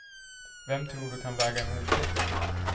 Vem tror du kan väga emot det.